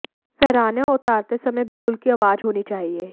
फहराने और उतारते समय बिगुल की आवाज होनी चाहिए